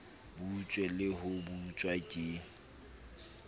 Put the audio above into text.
butswe le ho butswa ke